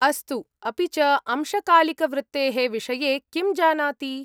अस्तु, अपि च अंशकालिकवृत्तेः विषये किं जानाति?